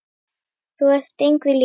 Þú ert engri lík.